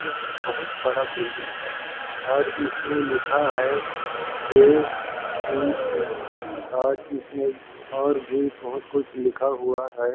यह बहुत बड़ा बिल्डिंग है और इसमें लिखा है जे_सी_एम् और इसमें और भी बहुत कुछ लिखा हुआ हैं ।